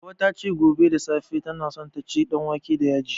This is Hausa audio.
Hauwa ta ce, gobe da safe tana so ta ci danwake da yaji.